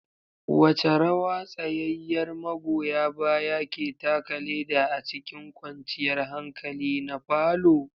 Wace rawa tsayayyar magoya baya ke taka leda a cikin kwanciyar hankali na parlour?